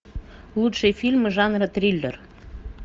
лучшие фильмы жанра триллер